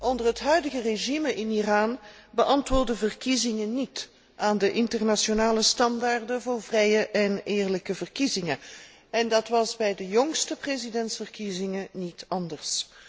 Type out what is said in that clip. Onder het huidige regime in Iran beantwoorden verkiezingen niet aan de internationale normen voor vrije en eerlijke verkiezingen, en dat was bij de jongste presidentsverkiezingen niet anders.